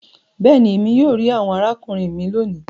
béèni, Èmi yóò ri àwọn arákùnrin mí lóni.